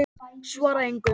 Svara engu.